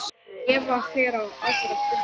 Eva fer á aðra fundi.